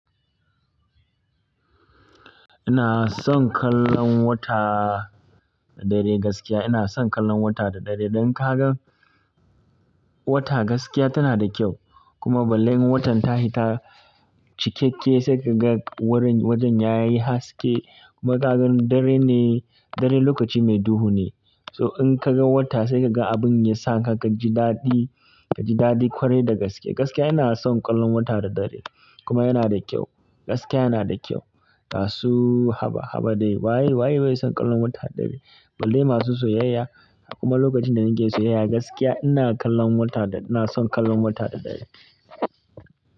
Ina son kallon wata da dare gaskiya. Ina son kallon wata da dare. Idan ka ga wata gaskiya tana da kyau kuma balle in watan ta hita cikakke sai ka ga wurin wajen ya yi haske kuma ka gan dare ne, dare lokaci mai duhu ne. So in ka gan wata sai ka ga abin ya sa haka ka ji daɗi, ka ji daɗi kwarai da gaskiya. Gaskiya ina son kallon wata da dare kuma yana da kyau. Gaskiya yana da kyau. Ba su haba, haba dai. Waye, waye, bai son kallon wata da dare? Balle masu soyayya. Kuma lokacin da nake soyayya gaskiya ina kallon wata da-- ina son kallon wata da dare.